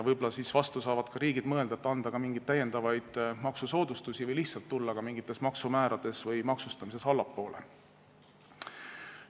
Võib-olla saavad riigid ka mõelda, kas anda mingeid täiendavaid maksusoodustusi või lihtsalt tulla mingite maksumäärade või maksustamisega allapoole.